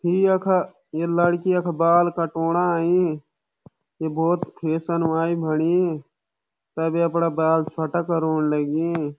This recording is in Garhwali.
इ यखा ये लड़की यख बाल कटोंणा अईं ये बहौत फेसन वाल बणी तब य अपड़ा बाल छोट्टा करोंण लगीं।